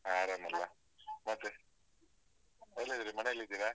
ಹ ಆರಾಮಲ್ಲ? ಮತ್ತೆ, ಎಲ್ಲಿದ್ದೀರಿ ಮನೆಯಲ್ಲಿದ್ದೀರಾ?